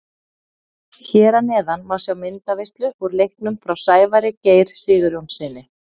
Hér að neðan má sjá myndaveislu úr leiknum frá Sævari Geir Sigurjónssyni.